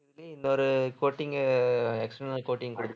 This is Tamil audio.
இதுலயே இன்னொரு coating external coating குடுக்~